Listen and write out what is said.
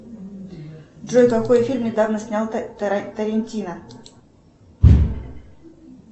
джой какой фильм недавно снял тарантино